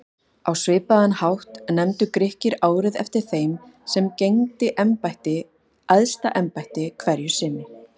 Á svipaðan hátt nefndu Grikkir árið eftir þeim sem gegndi æðsta embætti hverju sinni.